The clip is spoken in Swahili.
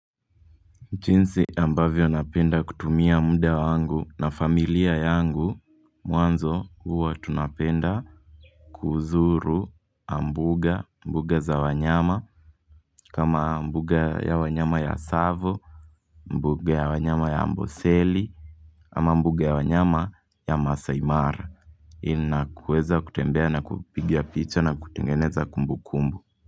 Jinsi ambavyo napenda kutumia muda wa wangu na familia yangu Mwanzo huwa tunapenda kuzuru mbuga za wanyama kama mbuga ya wanyama ya Tsavo mbuga ya wanyama ya Amboseli ama mbuga ya wanyama ya Masai mara Inakuweza kutembea na kupigia picha na kutengeneza kumbu kumbu.